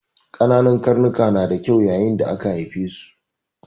Ƙananan karnika na da kyau yayin da aka haife su.